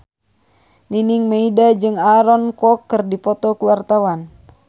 Nining Meida jeung Aaron Kwok keur dipoto ku wartawan